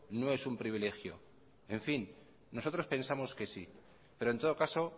no es un privilegio en fin nosotros pensamos que sí pero en todo caso